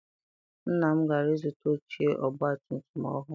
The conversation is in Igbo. Nna m gara ịzụta oche ọgbatumtum ọhụụ.